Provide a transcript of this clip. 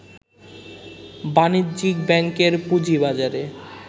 বাণিজ্যিক ব্যাংকের পুঁজিবাজারে